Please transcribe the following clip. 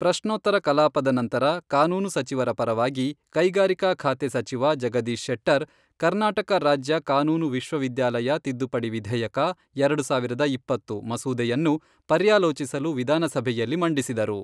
ಪ್ರಶ್ನೋತ್ತರ ಕಲಾಪದ ನಂತರ ಕಾನೂನು ಸಚಿವರ ಪರವಾಗಿ ಕೈಗಾರಿಕಾ ಖಾತೆ ಸಚಿವ ಜಗದೀಶ್ ಶೆಟ್ಟರ್, ಕರ್ನಾಟಕ ರಾಜ್ಯ ಕಾನೂನು ವಿಶ್ವವಿದ್ಯಾಲಯ ತಿದ್ದುಪಡಿ ವಿಧೇಯಕ, ಎರಡು ಸಾವಿರದ ಇಪ್ಪತ್ತು, ಮಸೂದೆಯನ್ನು ಪರ್ಯಾಲೋಚಿಸಲು ವಿಧಾನಸಭೆಯಲ್ಲಿ ಮಂಡಿಸಿದರು.